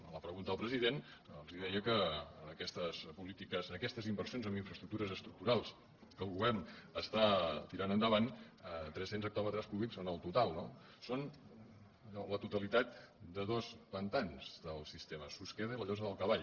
a la pregunta al president els deia que aquestes polítiques aquestes inversions en infraestructures estructurals que el govern està tirant endavant tres cents hectòmetres cúbics en el total no són la totalitat de dos pantans del sistema susqueda i la llosa del cavall